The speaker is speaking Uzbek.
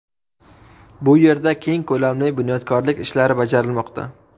Bu yerda keng ko‘lamli bunyodkorlik ishlari bajarilmoqda.